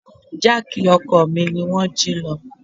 Jáákì ọkọ̀ mi ni wón jí lọ.